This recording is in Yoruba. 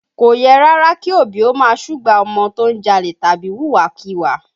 Kò yẹ rárá kí òbí ó máa súgbà ọmọ tó ń jalè tàbí wùwà kíwà